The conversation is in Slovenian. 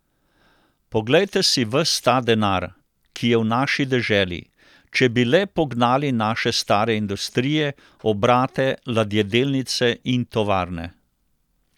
Poglejte si ves ta denar, ki je v naši deželi, če bi le pognali naše stare industrije, obrate, ladjedelnice in tovarne.